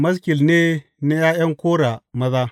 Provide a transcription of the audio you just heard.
Maskil ne na ’Ya’yan Kora maza.